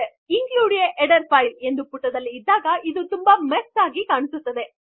include a header file ಎಂದು ಪುಟದಲ್ಲಿ ಇದ್ದಾಗ ಇದು ತುಂಬ ಮೆಸ್ಸಿಯಾಗಿ ಕಾಣುವುದು